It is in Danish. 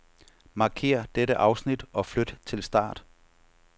Markér dette afsnit og flyt til start.